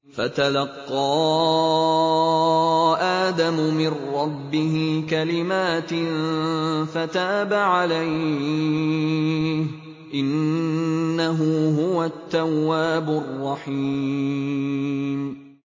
فَتَلَقَّىٰ آدَمُ مِن رَّبِّهِ كَلِمَاتٍ فَتَابَ عَلَيْهِ ۚ إِنَّهُ هُوَ التَّوَّابُ الرَّحِيمُ